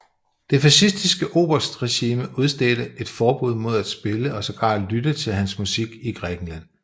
Det fascistiske oberstregime udstedte et forbud mod at spille og sågar lytte til hans musik i Grækenland